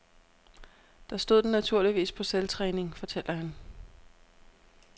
Der stod den naturligvis på selvtræning, fortæller han.